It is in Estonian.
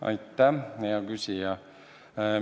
Aitäh, hea küsija!